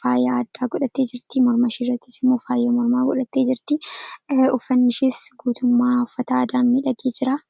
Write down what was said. ta’ee, karoora yeroo dheeraa milkeessuu keessatti gahee olaanaa taphata. Faayidaan isaa kallattii tokko qofaan osoo hin taane, karaalee garaa garaatiin ibsamuu danda'a.